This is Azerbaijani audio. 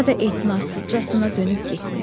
Radde ehtinatsızcasına dönüb getdi.